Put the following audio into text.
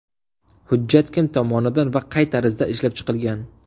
Hujjat kim tomonidan va qay tarzda ishlab chiqilgan?